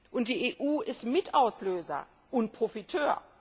Und die EU ist Mitauslöser und Profiteur.